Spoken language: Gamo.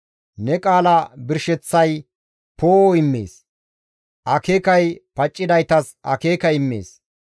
Ne qaala birsheththay poo7o immees; akeekay paccidaytas akeeka immees.